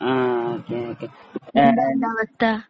അഹ് okay okay എന്താ